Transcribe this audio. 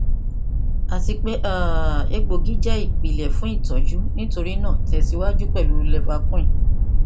ati pe um egboogi jẹ ipilẹ itọju nitorinaa tẹsiwaju pẹlu leviquin